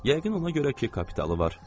Yəqin ona görə ki, kapitalı var.